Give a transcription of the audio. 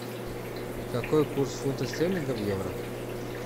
какой курс фунта стерлинга в евро